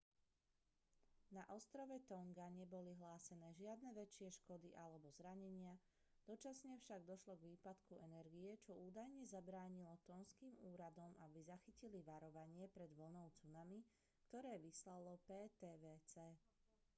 na ostrove tonga neboli hlásené žiadne väčšie škody alebo zranenia dočasne však došlo k výpadku energie čo údajne zabránilo tonžským úradom aby zachytili varovanie pred vlnou tsunami ktoré vyslalo ptwc